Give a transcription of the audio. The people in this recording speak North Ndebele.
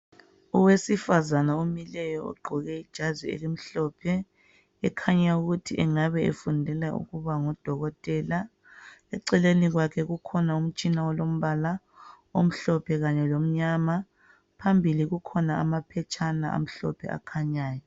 Owesifazana omileyo ogqoke ijazi elimhlophe ekhanya ukuthi engabe efundela ukuba ngudokotela. Eceleni kwakhe kukhona umtshina olombala omhlophe kanye lomnyama. Phambili kukhona amaphetshana amhlophe akhanyayo